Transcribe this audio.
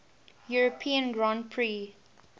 european grand prix